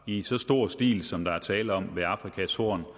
i så stor stil som der er tale om ved afrikas horn